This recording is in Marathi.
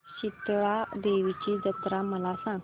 शितळा देवीची जत्रा मला सांग